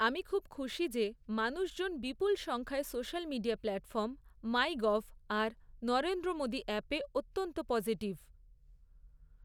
আমি খুব খুশি যে মানুষজন বিপুল সংখ্যায় সোশ্যাল মিডিয়া প্ল্যাটফর্ম, মাইগভ আর নরেন্দ্রমোদী অ্যাপে অত্যন্ত পজিটিভ